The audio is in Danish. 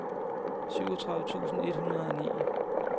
syvogtredive tusind et hundrede og ni